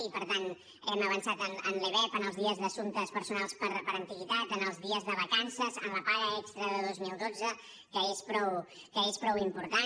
i per tant hem avançat en lebep en els dies d’assumptes personals per antiguitat en els dies de vacances en la paga extra de dos mil dotze que és prou important